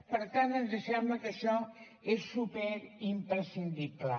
per tant ens sembla que això és superimprescindible